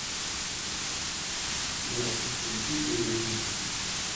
сбер включи ду ю мин